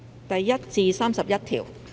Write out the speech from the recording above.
第1至31條。